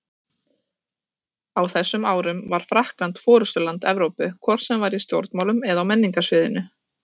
Á þessum árum var Frakkland forystuland Evrópu, hvort sem var í stjórnmálum eða á menningarsviðinu.